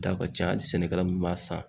Da ka ca hali sɛnɛkɛla min b'a san